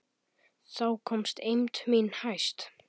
Þá komst eymd mín hæst.